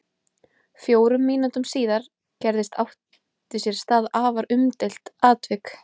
Fjórum mínútum síðar gerðist átti sér stað afar umdeilt atvik.